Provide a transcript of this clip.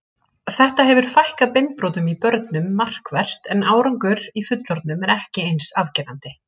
Þetta hefur fækkað beinbrotum í börnum markvert en árangur í fullorðnum er ekki eins afgerandi.